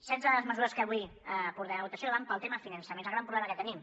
setze de les mesures que avui portem a votació van pel tema finançament és el gran problema que tenim